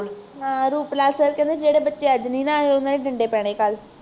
Ruplal Sir ਕਹਿੰਦੇ ਜਿਹੜੇ ਬੱਚੇ ਅੱਜ ਨੀ ਨਾ ਆਏ ਉਹਨਾਂ ਦੇ ਡੰਡੇ ਪੈਣੇ ਕੱਲ